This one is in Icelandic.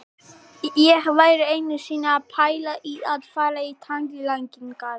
Ég var einu sinni að pæla í að fara í tannlækningar.